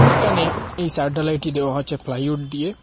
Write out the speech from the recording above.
এটানে এই ছাদ ঢালাইটি দেওয়া হচ্ছে প্লাইউড দিয়ে।